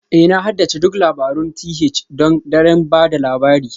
Ee Na haddace duk labarun th don daren ba da labari